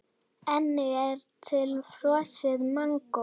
Einnig er til frosið mangó.